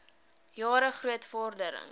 jare groot vordering